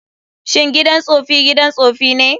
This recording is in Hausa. Shin gidan tsofi gidan tsofi ne?